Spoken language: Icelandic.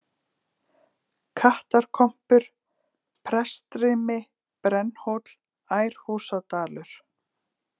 Kattakompur, Prestsrimi, Brennhóll, Ærhúsadalur